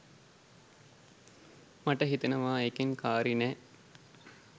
මට හිතෙනවා ඒකෙන් කාරි නෑ.